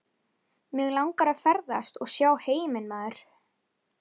Mig langar að ferðast og sjá heiminn maður.